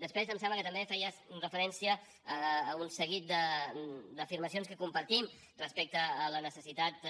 després em sembla que també feies referència a un seguit d’afirmacions que compartim respecte a la necessitat